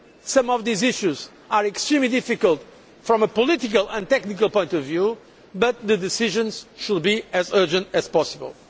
Some of these issues are extremely difficult from a political and technical point of view but the decisions should be as urgent as possible.